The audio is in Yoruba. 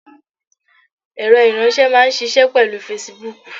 Ẹ̀rọ ìránsé máa n ṣiṣẹ́ pèlú Fesibuúkù